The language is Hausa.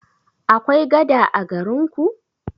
Akwai gada a garin ku?